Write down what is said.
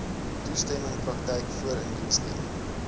toestemming praktyk voorindiensneming